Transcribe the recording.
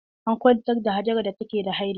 An kwantar da Hajara da take ta haila.